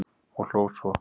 og hló svo.